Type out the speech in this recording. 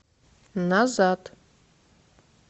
назад